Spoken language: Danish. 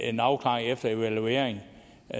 en afklaring efter evalueringen